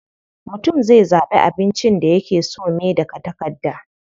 Mutum zai zaɓi abincin da yake so me daga takarda.